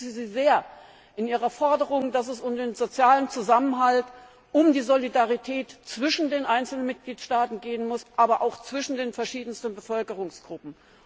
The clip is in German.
Ich unterstütze Sie sehr in Ihrer Forderung, dass es um den sozialen Zusammenhalt, um die Solidarität zwischen den einzelnen Mitgliedstaaten gehen muss, aber auch zwischen den verschiedensten Bevölkerungsgruppen.